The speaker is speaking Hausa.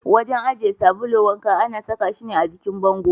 Wajen aje sabulun wanka ana saka shi ne a jikin bango.